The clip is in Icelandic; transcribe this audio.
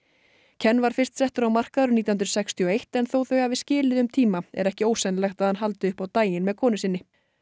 ken var fyrst settur á markað árið nítján hundruð sextíu og eitt en þó þau hafi skilið um tíma er ekki ósennilegt að hann haldi upp á daginn með konu sinni